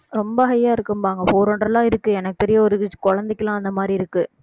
ரொம்ப high யா இருக்கும்பாங்க four hundred லாம் இருக்கு எனக்குத் தெரியும் குழந்தைக்குல்லாம் அந்த மாதிரி இருக்கு